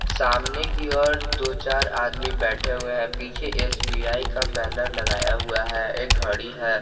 सामने की ओर दो चार आदमी बैठे हुए हैं पीछे एस_बी_आई का बैनर लगाया हुआ है एक घड़ी है।